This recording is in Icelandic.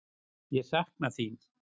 Ég sakna þín.